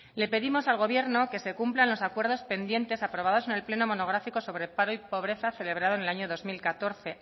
le pedimos al gobierno que se cumplan los acuerdos pendientes aprobados en el pleno monográfico sobre paro y pobreza celebrado en el año dos mil catorce